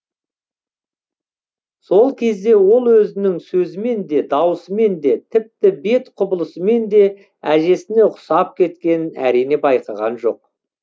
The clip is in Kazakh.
сол кезде ол өзінің сөзімен де даусымен де тіпті бет құбылысымен де әжесіне ұқсап кеткенін әрине байқаған жоқ